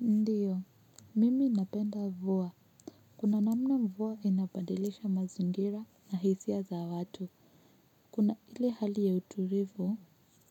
Ndiyo, mimi napenda mvua. Kuna namna mvua inabadilisha mazingira na hisia za watu. Kuna ile hali ya utulivu